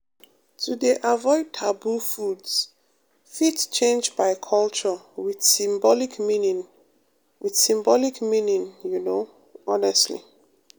to dey avoid taboo foods fit change by culture with symbolic meaning with symbolic meaning you know honestly